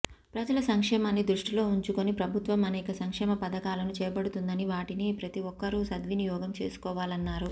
ప్రజల సంక్షేమాన్ని దృష్టిలో ఉంచుకొని ప్రభుత్వం అనేక సంక్షేమ పథకాలను చేపడుతుందని వాటిని ప్రతిఒక్కరూ సద్వినియోగం చేసుకోవాలన్నారు